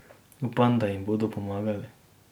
Upam, da ji bodo pomagali.